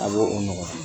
A b'o o nɔgɔya